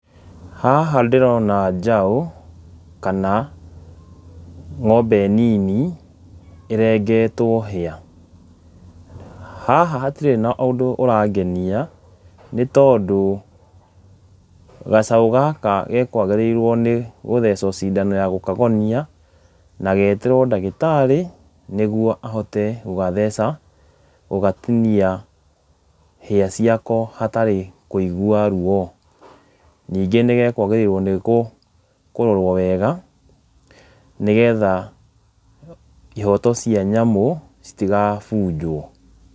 Haha ndĩrona njaũ kana ng'ombe nini ĩrengetwo hĩa, haha hatirĩ na ũndũ ũrangenia, nĩ tondũ gacaũ gaka gakũagĩrĩirwo nĩ gũcethwo cindano ya gũkagonia na getĩrwo ndagĩtarĩ nĩgetha ahote gũgatheca , gũgatinia hĩa ciako hatarĩ kũigua ruo , ningĩ nĩgakwagĩrĩirwo kũrorwo wega nĩgetha ihoto cia nyamũ citigabunjwo.